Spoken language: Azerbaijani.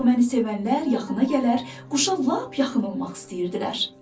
Nəğməni sevənlər yaxına gələr, quşa lap yaxın olmaq istəyirdilər.